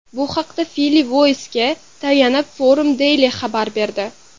Bu haqda Philly Voice’ga tayanib, Forum Daily xabar berdi .